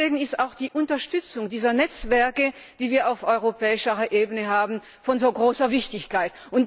Deswegen ist auch die Unterstützung dieser Netzwerke, die wir auf europäischer Ebene haben, von so großer Wichtigkeit.